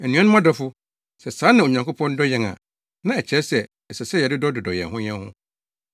Anuanom adɔfo, sɛ saa na Onyankopɔn dɔ yɛn a, na ɛkyerɛ sɛ, ɛsɛ sɛ yɛdodɔ yɛn ho yɛn ho.